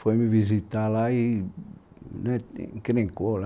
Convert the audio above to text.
Foi me visitar lá e e, né, encrencou lá